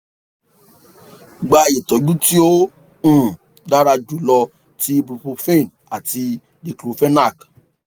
gba itọju ti o um dara julọ ti ibuprofen àti diclofenac